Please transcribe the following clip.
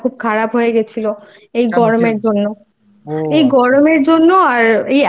শরীরটা খুব খারাপ হয়ে গিয়েছিল এই গরমের জন্য।